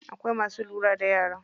Akwai masu lura da yara.